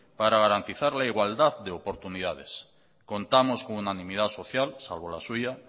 para garantizar la igualdad de oportunidades contamos con unanimidad social salvo la suya